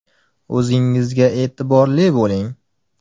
O‘zingizga e’tiborli bo‘ling!